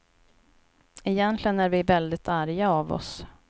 Egentligen är vi väldigt arga av oss.